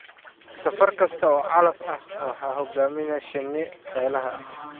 Safar kasta oo calaf ah waxaa hogaaminaya shinni shaqaale ah.